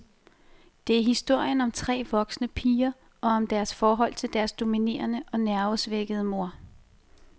Det er historien om tre voksne piger og om deres forhold til deres dominerende og nervesvækkede mor.